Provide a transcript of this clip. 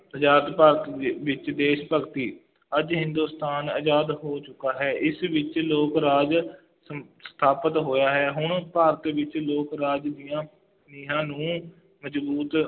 ਆਜ਼ਾਦ ਭਾਰਤ ਦੇ ਵਿੱਚ ਦੇਸ਼ ਭਗਤੀ, ਅੱਜ ਹਿੰਦੁਸਤਾਨ ਆਜ਼ਾਦ ਹੋ ਚੁੱਕਾ ਹੈ, ਇਸ ਵਿੱਚ ਲੋਕ ਰਾਜ ਸ ਸਥਾਪਿਤ ਹੋਇਆ ਹੈ, ਹੁਣ ਭਾਰਤ ਵਿੱਚ ਲੋਕ ਰਾਜ ਦੀਆਂ ਨੀਂਹਾਂ ਨੂੰ ਮਜ਼ਬੂਤ